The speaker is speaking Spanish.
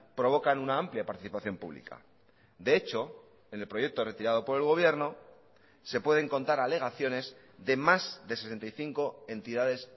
provocan una amplia participación pública de hecho en el proyecto retirado por el gobierno se pueden contar alegaciones de más de sesenta y cinco entidades